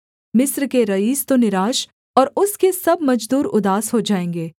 मिस्र के रईस तो निराश और उसके सब मजदूर उदास हो जाएँगे